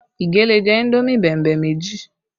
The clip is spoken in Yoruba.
Ige lè jẹ indomi bẹ̀mbẹ̀ méjì